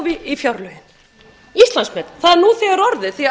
í gegn fyrir áramót að þá